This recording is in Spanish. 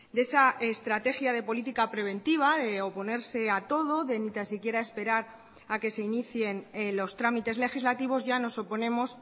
de esa estrategia de política preventiva de oponerse a todo de ni tan siquiera esperar a que se inicien los trámites legislativos ya nos oponemos